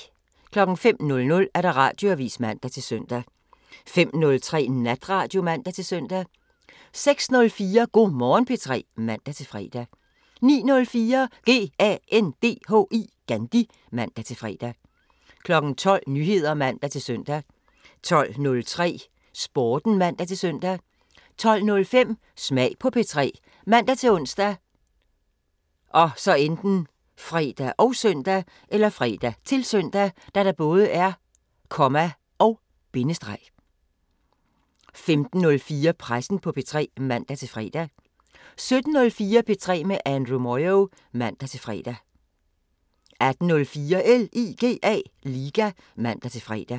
05:00: Radioavisen (man-søn) 05:03: Natradio (man-søn) 06:04: Go' Morgen P3 (man-fre) 09:04: GANDHI (man-fre) 12:00: Nyheder (man-søn) 12:03: Sporten (man-søn) 12:05: Smag på P3 ( man-ons, fre, -søn) 15:04: Pressen på P3 (man-fre) 17:04: P3 med Andrew Moyo (man-fre) 18:04: LIGA (man-fre)